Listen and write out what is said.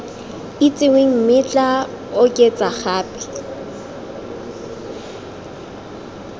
itsiweng mme tla oketsa gape